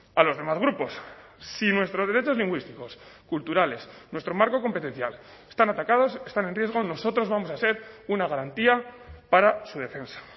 a los demás grupos si nuestros derechos lingüísticos culturales nuestro marco competencial están atacados están en riesgo nosotros vamos a ser una garantía para su defensa